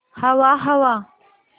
हवा हवा